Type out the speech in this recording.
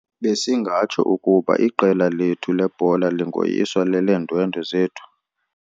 Besingatsho ukuba iqela lethu lebhola lingoyiswa leleendwendwe zethu.